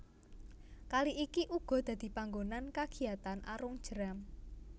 Kali iki uga dadi panggonan kagiatan arung jeram